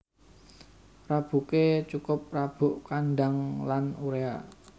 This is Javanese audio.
Rabuké cukup rabuk kandhang lan uréa